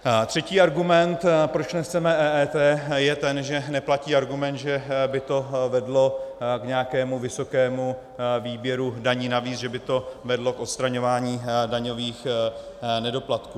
Třetí argument, proč nechceme EET, je ten, že neplatí argument, že by to vedlo k nějakému vysokému výběru daní navíc, že by to vedlo k odstraňování daňových nedoplatků.